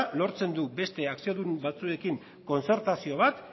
lortzen du beste akziodun batzuekin kontzertazio bat